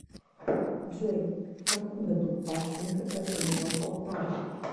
джой в каком году пащенко покинула полтаву